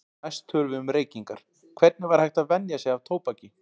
Næst tölum við um reykingar, hvernig væri hægt að venja sig af tóbaki.